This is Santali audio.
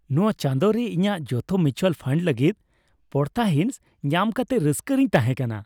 ᱱᱚᱶᱟ ᱪᱟᱸᱫᱳ ᱨᱮ ᱤᱧᱟᱹᱜ ᱡᱚᱛᱚ ᱢᱤᱭᱩᱪᱩᱣᱟᱞ ᱯᱷᱟᱱᱰ ᱞᱟᱹᱜᱤᱫ ᱯᱚᱲᱛᱟᱦᱤᱸᱥ ᱧᱟᱢ ᱠᱟᱛᱮ ᱨᱟᱹᱥᱠᱟᱹ ᱨᱮᱧ ᱛᱦᱟᱮᱸ ᱠᱟᱱᱟ ᱾